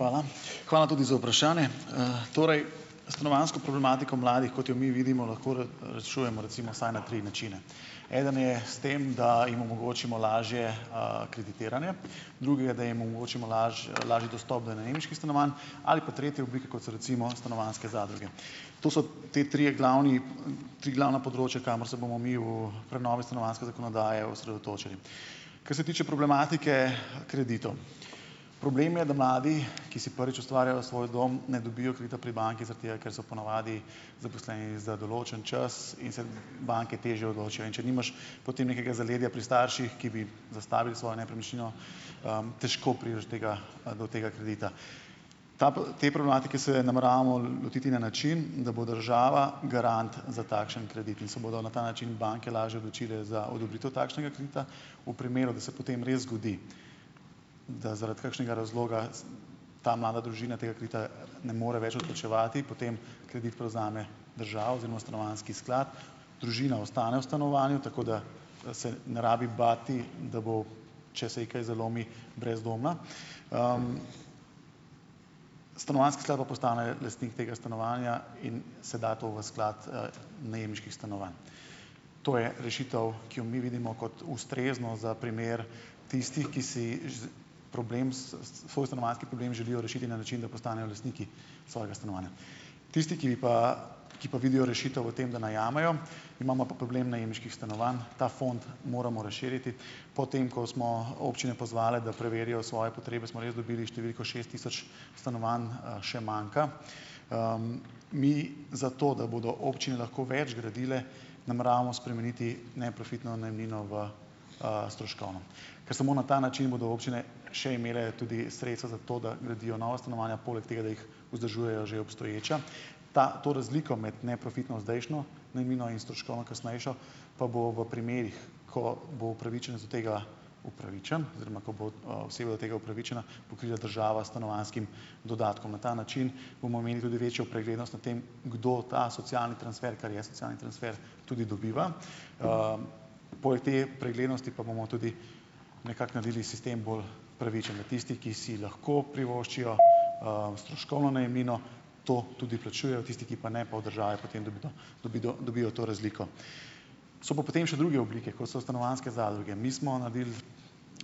Hvala. Hvala tudi za vprašanje. Torej stanovanjsko problematiko mladih, kot jo mi vidimo, lahko rešujemo recimo vsaj na tri načine. Eden je s tem, da jim omogočimo lažje, kreditiranje, drugega, da jim omogočimo lažji dostop do najemniških stanovanj ali pa tretji obliki, kot so recimo stanovanjske zadruge. To so te trije glavni, tri glavna področja, kamor se bomo mi v prenovi stanovanjske zakonodaje osredotočili. Kar se tiče problematike kreditov. Problem je, da mladi, ki si prvič ustvarjajo svoj dom, ne dobijo kredita pri banki, zaradi tega ker so ponavadi zaposleni za določen čas in se banke težje odločijo. In če nimaš potem nekega zaledja pri starših, ki bi zastavili svojo nepremičnino, težko prideš do tega, do tega kredita. Ta, te problematike se nameravamo lotiti na način, da bo država garant za takšen kredit in se bodo na ta način banke lažje odločile za odobritev takšnega kredita. V primeru, da se potem res zgodi, da zaradi kakšnega razloga ta mlada družina tega kredita ne more več odplačevati, potem kredit prevzame država oziroma stanovanjski sklad, družina ostane v stanovanju, tako da, se ne rabi bati, da bo, če se ji kaj zalomi, brezdomna. Stanovanjski sklad pa postane lastnik tega stanovanja in se da to v sklad, najemniških stanovanj. To je rešitev, ki jo mi vidimo kot ustrezno za primer tistih, ki si problem svoj stanovanjski problem želijo rešiti na način, da postanejo lastniki svojega stanovanja. Tisti, ki bi pa ki pa vidijo rešitev v tem, da najamejo, imamo pa problem najemniških stanovanj. Ta fond moramo razširiti. Potem ko smo občine pozvali, da preverijo svoje potrebe, smo res dobili številko šest tisoč stanovanj, še manjka. Mi zato, da bodo občine lahko več gradile, nameravamo spremeniti neprofitno najemnino v, stroškovno. Ker samo na ta način bodo občine še imele tudi sredstva za to, da gradijo nova stanovanja, poleg tega, da jih vzdržujejo že obstoječa. Ta, to razliko med neprofitno, zdajšnjo najemnino in stroškovno kasnejšo, pa bo v primerih, ko bo upravičenec do tega upravičen oziroma ko bo, oseba do tega upravičena, pokrila država s stanovanjskim dodatkom. Na ta način bomo imeli tudi večjo preglednost nad tem, kdo ta socialni transfer, ker je socialni transfer, tudi dobiva. Poleg te preglednosti pa bomo tudi nekako naredili sistem bolj pravičen do tistih, ki si lahko privoščijo, stroškovno najemnino, to tudi plačujejo, tisti, ki pa ne, pa, pa od države potem dobido dobido dobijo to razliko. So pa potem še druge oblike, kot so stanovanjske zadruge. Mi smo naredili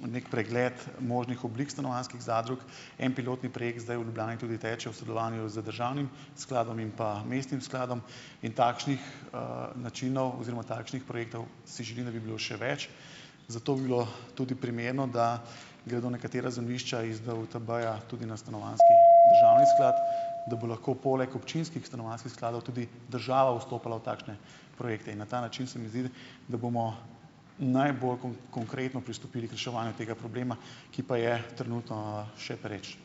neki pregled možnih oblik stanovanjskih zadrug. En pilotni projekt zdaj v Ljubljani tudi teče v sodelovanju z državnim skladom in pa mestnim skladom. In takšnih, načinov oziroma takšnih projektov si želim, da bi bilo še več. Zato bi bilo tudi primerno, da gredo nekatera zemljišča iz DUTB-ja tudi na stanovanjski državni sklad , da bo lahko poleg občinskih stanovanjskih skladov tudi država vstopala v takšne projekte. In na ta način, se mi zdi, da bomo najbolj konkretno pristopili k reševanju tega problema, ki pa je trenutno še pereč.